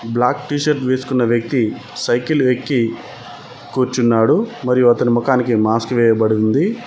Black T-shirt వేసుకున్న వ్యక్తి cycle ఎక్కి కూర్చున్నాడు మరియు అతని ముఖానికి మాస్క్ వేయబడి ఉంది.